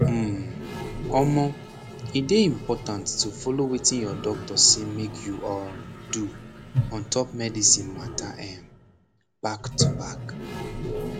um omoh e dey important to follow wetin your doctor say make you um do ontop medicine mata emm back to back